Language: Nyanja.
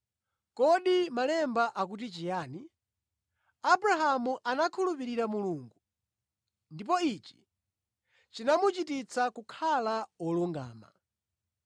Kodi Malemba akuti chiyani? “Abrahamu anakhulupirira Mulungu, ndipo ichi chinamuchititsa kukhala wolungama.”